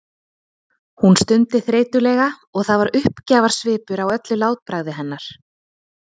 Hún stundi þreytulega og það var uppgjafarsvipur á öllu látbragði hennar.